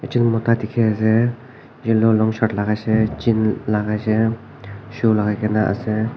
ekjon mota dikhi ase yellow long shirt laga ase jean laga ase shoe lagai kene ase.